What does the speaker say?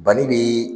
Banni bi